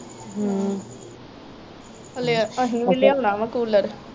ਹੂੰ ਹਲੇ ਅਸੀਂ ਵੀ ਲਿਓਣਾ ਵਾ ਕੂਲਰ